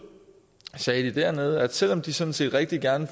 sagde de dernede at selv om de sådan set rigtig gerne